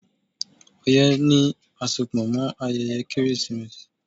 Ọyẹ́ ní àsopọ̀ mọ ayẹyẹ Kérésìmesì.